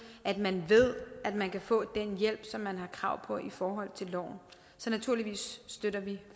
at man ved at man kan få den hjælp som man har krav på i forhold til loven så naturligvis støtter vi